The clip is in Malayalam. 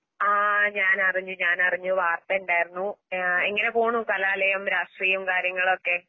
ആഹ് ഞാനറിഞ്ഞുഞാനറിഞ്ഞു. വാർത്തയുണ്ടായിരുന്നു. ഏഹ് എങ്ങനെപോണു കലാലയം, രാഷ്ട്രീയം കാര്യങ്ങളൊക്കെ?